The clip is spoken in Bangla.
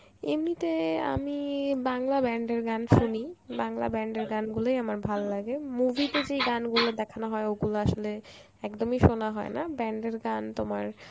এমনিতে আমি বাংলা band এর গান শুনি, বাংলা band এর গান গুলোই আমার ভাললাগে. movie তে যেই গানগুলো দেখানো হয় ওগুলো আসলে একদমই শোনা হয় না, band এর গান তোমার